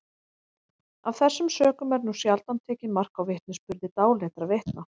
af þessum sökum er nú sjaldan tekið mark á vitnisburði dáleiddra vitna